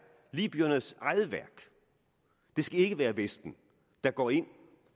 libyernes eget værk det skal ikke være vesten der går ind